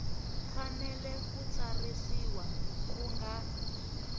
fanele ku tsarisiwa ku nga